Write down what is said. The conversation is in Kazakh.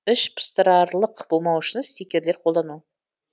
іш пыстырарлық болмау үшін стикерлер қолдану